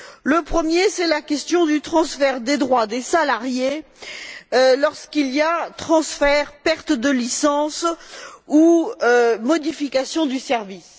Le premier point, c'est la question du transfert des droits des salariés lorsqu'il y a transfert, perte de licence, ou modification du service.